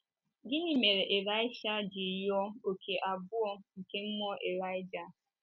Gịnị mere Ịlaịsha ji rịọ “ òkè abụọ ” nke mmụọ Ịlaịja?